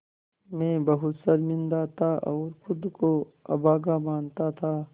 मैं बहुत शर्मिंदा था और ख़ुद को अभागा मानता था